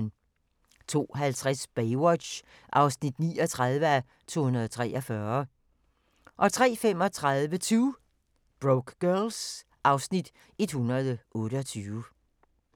02:50: Baywatch (39:243) 03:35: 2 Broke Girls (Afs. 128)